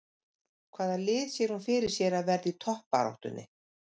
Hvaða lið sér hún fyrir sér að verði í toppbaráttunni?